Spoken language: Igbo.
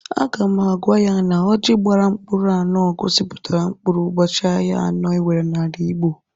Aga m agwa ya na ọjị gbara mkpụrụ anụ gosipụtara mkpụrụ ụbọchị ahịa anọ enwere n'ala Igbo.